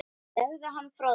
Legðu hann frá þér